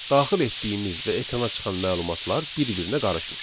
Daxil etdiyimiz və ekrana çıxan məlumatlar bir-birinə qarışmır.